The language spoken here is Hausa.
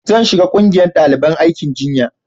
zan shiga ƙungiyar daliban aikin jinya